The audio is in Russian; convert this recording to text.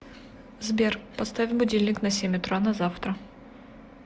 сбер поставь будильник на семь утра на завтра